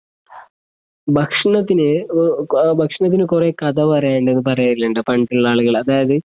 ഭക്ഷണത്തിന് ഒ ആഹ് ഭക്ഷണത്തിന് കുറേ കഥ പറയാനുണ്ടന്ന് പറയാറുണ്ടല്ലോ പണ്ടുള്ള ആളുകള് അതായിത്